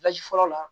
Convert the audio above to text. fɔlɔ la